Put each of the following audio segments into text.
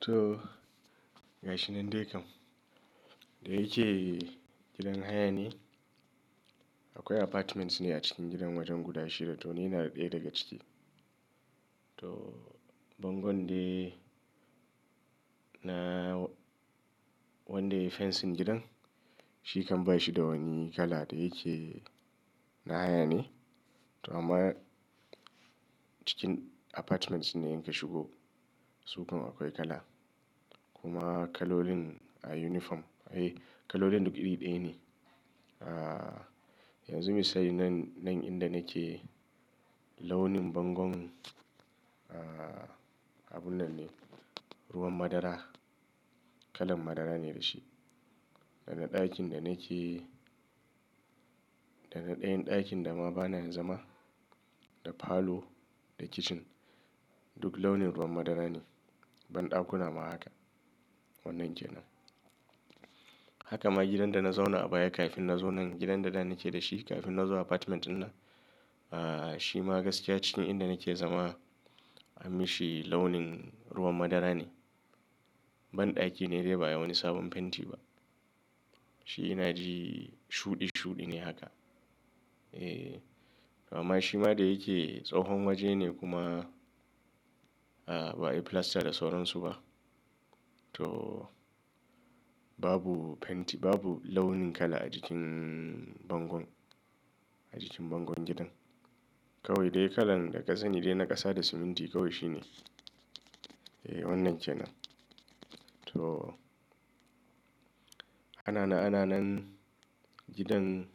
To gashi nan dai kam, da yake gidan haya ne, akwai apartments ne a ciki gidan wajen guda shida. To ni ina ɗaya daga ciki. To bangon dai na wanda yayi fensin gidan shi kan ba shi da wani kala da yake na haya ne. To amma cikin apartments nae in ka shigo su kan akwai kala kuma kalolin a uniform. E, kalolin duk iri ɗaya ne. A, yanzu misali nan, nan inda nake launin bangon, a, abun nan ne, ruwan madara. Kalan madara ne da shi. Daga ɗakin da nake, daga ɗayan ɗakin da ma bana zama, da falo da kicin duk launin ruwan madara ne. Ban ɗakuna ma haka. Wannan kenan. Haka ma gidan da na zauna a baya kafin na zo nan, gidan da na nake da shi kafin na zo apartment ɗin nan, a, shi ma gaskiya shine inda nake zama, a mi shi launin ruwan madara ne. Ban ɗaki ne dai ba wani sabon fenti ba. Shi ina ji shuɗi shuɗi ne haka. E, amma shi ma da yake tsohon waje ne kuma, a, ba a yi filasta da sauransu ba. To babu fenti babu launin kala a jikin bangon, a jikin bangon gidan. Kawai dai kalan daga sani dai na ƙasa da siminti kawai shine. E wannan kenan. To, ana na ana nan gidan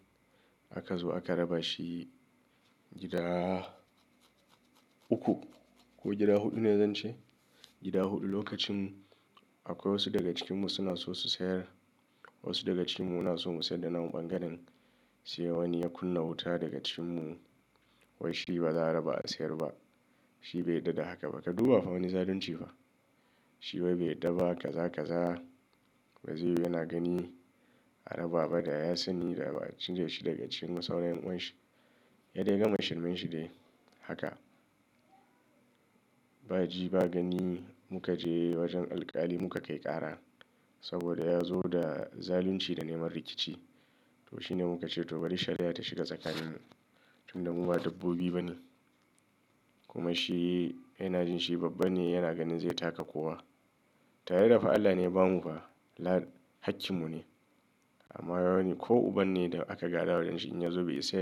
aka zo aka raba shi gida uku ko gida huɗu ne zan ce? Gida huɗu lokacin akwai wasu daga cikinmu suna so su sayar. Wasu daga cikinmu suna so mu sayar da nawa ɓangaren sai wani ya kunna wuta daga cikinmu. Wai shi ba za a raba a sayar ba. Shi bai yadda da haka ba. Ka duba fa wani zalunci fa. Shi wai bai da ba kaza kaza, waziri yana gani a raba ba da ya sani da ba a cire shi daga cikinmu sauran 'yan'uwan shi. Ya dai gama shirmanshi dai haka. Ba ji ba gani muka je wajen alƙali muka kai ƙara saboda ya zo da zalunci da neman rikici. To shi ne muka ce to bari shari'a ta shiga tsakaninmu, tunda mu ba dabbobi ba ne. Kuma shi ina jin shi babba ne yana ganin zai taka kowa. Tare da fa Allah ne ya bamu fa, hakkinmu ne. Amma wani ko uban ne da aka gaɗa wajen shi in ya zo bai isa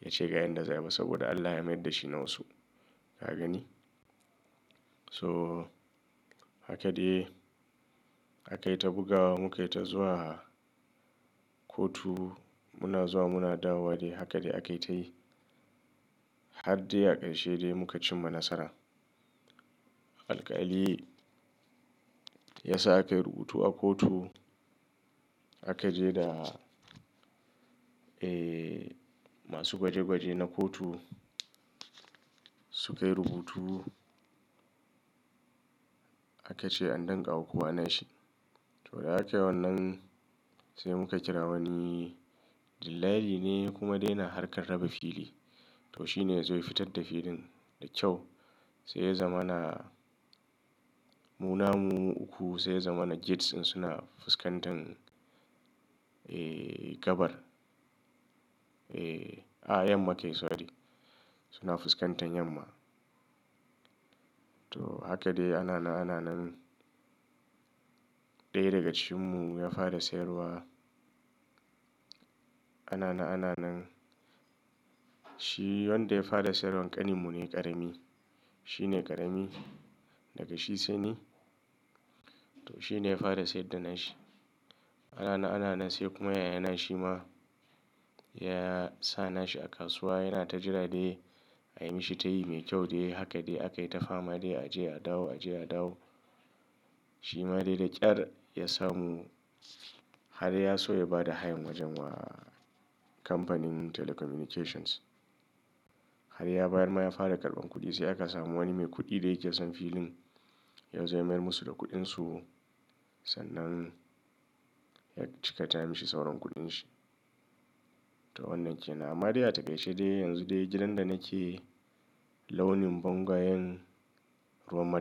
ya ce ga yan da za ba saboda Allah ya mayar da shi na wasu. Ka gani? So haka dai a kai ta bugawa mu kai ta zuwa kotu. Muna zuwa muna dawo dai haka dai aka yi ta yi har dai a ƙarshe dai muka cimma nasara. Alƙali ya sa aka yi rubutu a kotu. Aka je da, e, masu gwaje gwaje na kotu su kai rubutu. Aka ce an dankawa kowa nashi. To da akayi wannan sai muka kira wani dillali ne kuma dai na harkar raba fili. To shi ne zai fitar da filin da kyau. Sai ya zama na mu namu uku. Sai ya zama na gates ɗin suna fuskantan, e, gabar. E, a yamma kai sorry. Suna fuskantan yamma. To haka dai ana na ana nan. Ɗaya daga cikinmu ya fara sayarwa. Ana na ana nan. Shi wanda ya fara sayarwa ƙaninmu ne ƙarami. Shi ne ƙarami daga shi sai ni. To shi ne ya fara sayar da nashi. Ana na ana nan sai kuma yayana shi ma ya sa nashi a kasuwa yana ta jira dai a yi mishi tayi mai kyau dai. Haka dai aka yi ta fama dai a je a dawo a je a dawo. Shi ma dai da ƙyar ya samu har ya so ya ba da hayan wajen wa kamfanin telecommunications. Har ya bayan ma ya fara karɓan kuɗi sai aka samu wani mai kuɗi da yake son filin yau zai mayar musu da kuɗinsu. Sannan ya cika ta mishi sauran kuɗin shi. To wannan kenan. Amma dai a ta ƙarshe dai yanzu dai gidan da nake launin bangwayen ruwan madara.